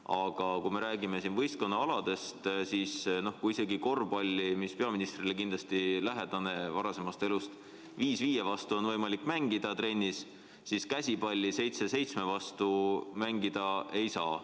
Aga kui me räägime võistkonnaaladest, siis korvpalli, mis on peaministrile varasemast elust kindlasti lähedane ala, on viis viie vastu trennis võimalik mängida, ent käsipalli, kus mängitakse seitse seitsme vastu, uute reeglite korral mängida ei saa.